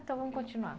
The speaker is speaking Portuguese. Então vamos continuar.